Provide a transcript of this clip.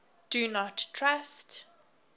do not trust